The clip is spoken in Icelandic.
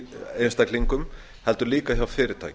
einstaklingum heldur líka hjá fyrirtækjum